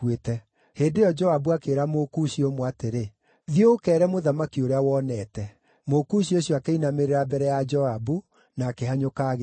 Hĩndĩ ĩyo Joabu akĩĩra Mũkushi ũmwe atĩrĩ, “Thiĩ ũkeere mũthamaki ũrĩa wonete.” Mũkushi ũcio akĩinamĩrĩra mbere ya Joabu na akĩhanyũka agĩthiĩ.